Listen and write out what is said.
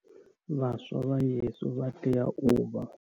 Vhaswa vha YES vha tea u vha.